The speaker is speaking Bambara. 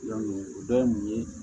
o dɔ ye mun ye